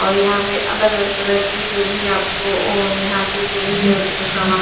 और यहाँ पर अलग अलग तरह की जो भी है आपको और यहाँ से जो भी जरुरत का सामान--